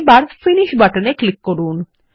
এবার ফিনিশ বাটনে ক্লিক করুন